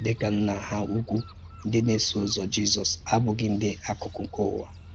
Dị̀ ka Nna ha ùkwù, ǹdí na-èsò ụ̀zọ̀ Jízọ́s “àbùghí ǹdí àkàkụ̀ nke ùwà